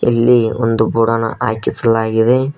ಎಲ್ಲಿ ಒಂದು ಬೋರ್ಡ್ ಅನ್ನ ಹಾಕಿಸಲಾಗಿದೆ.